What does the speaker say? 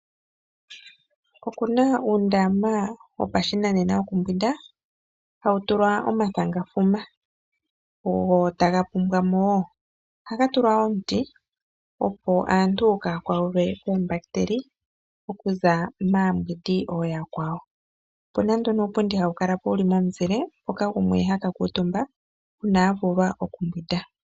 Okuna uundama wopashinanena wokumbwinda hawu tulwa omathangafuma, ogo taga pumbwa mo wo, ohaga tulwa omuti opo aantu kaaya kwatwe koombahiteli okuza maayogi/maambwindi ooya kwawo. Opuna nduno uupundi hawu kala po wuli momuzile mpoka gumwe aka kuutumba uuna avulwa okumbwinda.